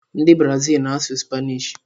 Ndị Brazil na-asụ Spanish.